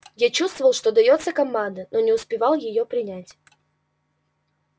я чувствовал что даётся команда но не успевал её принять